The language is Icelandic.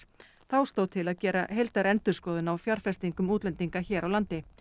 þá stóð til að gera heildarendurskoðun á fjárfestingum útlendinga hér á landi